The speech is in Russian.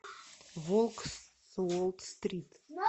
волк с уолл стрит